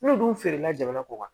N'u dun feerela jamana kɔ kan